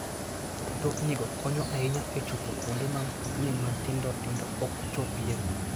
Mtoknigo konyo ahinya e chopo kuonde ma mtokni matindo tindo ok chopie.